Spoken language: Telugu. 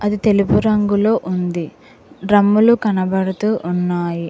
ఇది తెలుపు రంగులో ఉంది డ్రమ్ములు కనబడుతూ ఉన్నాయి.